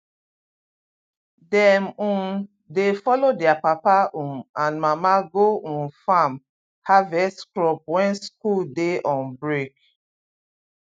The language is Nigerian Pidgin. dem um dey follow their papa um and mama go um farm harvest crop when school dey on break